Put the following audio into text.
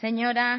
señora